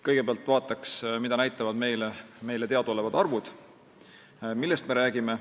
Kõigepealt vaatan, mida näitavad meile teadaolevad arvud, millest me räägime.